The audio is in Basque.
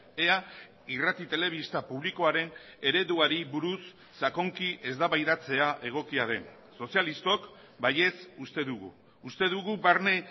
ea irrati telebista publikoaren ereduari buruz sakonki eztabaidatzea egokia den sozialistok baietz uste dugu uste dugu barne